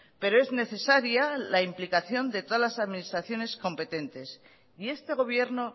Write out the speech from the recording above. pero es necesaria la implicación de todas las administraciones competentes y este gobierno